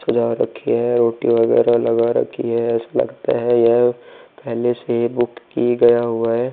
सजा रखी है। रोटी वगैरह लगा रखी है। ऐसा लगता है यह पहले से बुक की गया हुआ है।